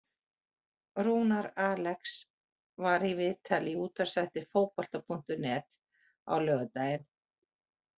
Rúnar Alex var í viðtali í útvarpsþætti Fótbolta.net á laugardaginn.